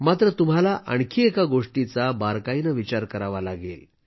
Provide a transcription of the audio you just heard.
मात्र तुम्हाला आणखी एका गोष्टीचा बारकाईनं विचार करावा लागेल